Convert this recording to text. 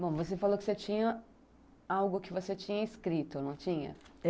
Bom, você falou que você tinha algo que você tinha escrito, não tinha?